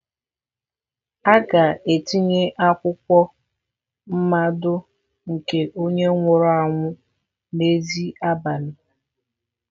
A ga-etinye akwụkwọ mmado nke onye nwụrụ anwụ n'èzí abalị a.